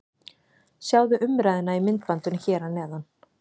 Sjáðu umræðuna í myndbandinu hér að neðan: